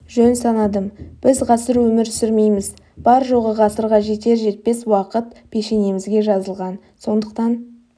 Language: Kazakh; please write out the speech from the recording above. жөн санадым біз ғасыр өмір сүрмейміз бар жоғы ғасырға жетер жетпес уақыт пешенемізге жазылған сондықтан